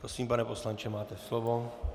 Prosím, pane poslanče, máte slovo.